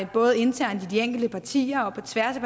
både internt i de enkelte partier og på tværs af